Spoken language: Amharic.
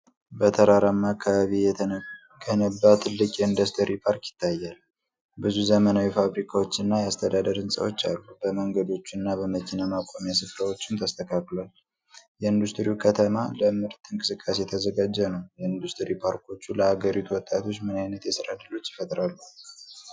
በተራራማ አካባቢ የተገነባ ትልቅ የኢንዱስትሪ ፓርክ ይታያል። ብዙ ዘመናዊ ፋብሪካዎች እና የአስተዳደር ህንፃዎች አሉ፤ በመንገዶችና በመኪና ማቆሚያ ስፍራዎችም ተስተካክሏል። የኢንዱስትሪው ከተማ ለምርት እንቅስቃሴ የተዘጋጀ ነው። የኢንዱስትሪ ፓርኮች ለአገሪቱ ወጣቶች ምን ዓይነት የሥራ ዕድሎች ይፈጥራሉ?